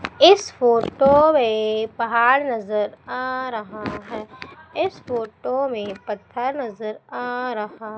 इस फोटो में पहाड़ नजर आ रहा है इस फोटो में पता नजर आ रहा--